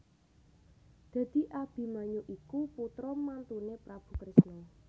Dadi Abimanyu iku putra mantuné Prabu Kresna